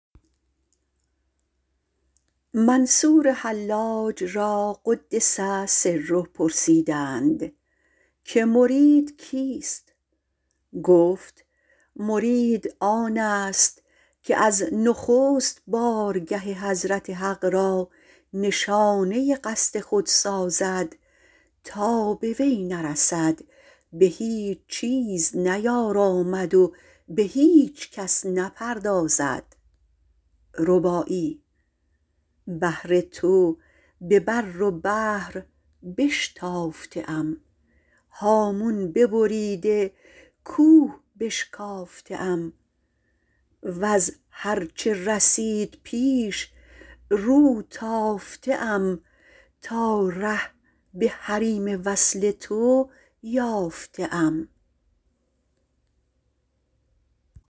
حلاج را - قدس سره - پرسیدند که مرید کیست گفت مرید آن است که از نخست بار که حضرت حق را نشانه قصد خود سازد تا به وی نرسد به هیچ نیارامد و به هیچ کس نپردازد بهر تو به بر و بحر بشتافته ام هامون ببریده کوه بشکافته ام از هر چه رسیده پیش رو تافته ام تا ره به حریم وصل تو یافته ام